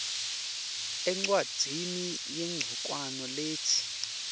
encwadzini yancongwane letsi